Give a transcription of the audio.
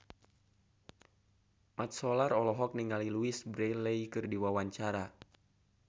Mat Solar olohok ningali Louise Brealey keur diwawancara